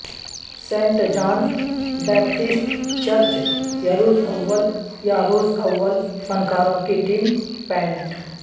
Saint John Baptist church Yaroslavl Yaroslavl فنکاروں کی team pant